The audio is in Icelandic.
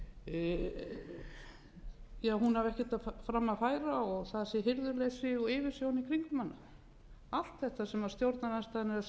og það sé hirðuleysi og yfirsjón í kringum hana allt þetta sem stjórnarandstaðan er að segja um hirðuleysi